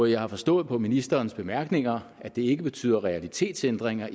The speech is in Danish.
jeg har forstået på ministerens bemærkninger at det ikke betyder realitetsændringer